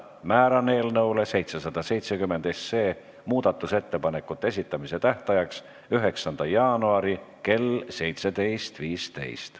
Määran eelnõu 770 muudatusettepanekute esitamise tähtajaks 9. jaanuari kell 17.15.